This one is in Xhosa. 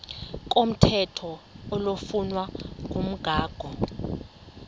komthetho oflunwa ngumgago